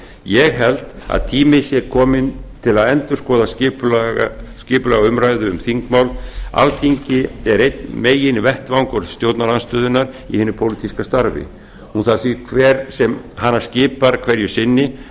ég held að tími sé kominn til að endurskoða skipulag umræðu um þingmál alþingi er einn meginvettvangur stjórnarandstöðunnar í hinu pólitíska starfi hún þarf því hver sem hana skipar hverju sinni